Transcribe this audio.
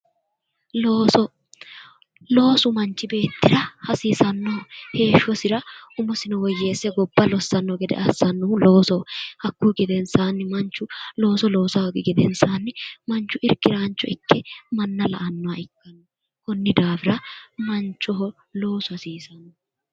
Looso loosu manichi beetira hasiisanoho heeshosira umosino woyyeese gobba lossanno gede assanohu loosoho hakkuyi gedenisaanni manichu looso loosa hoogi gedenisaanni manichu irikkiraanicho ikke manna la"annoha ikkanno konni daafira manichoho loosu hasiisano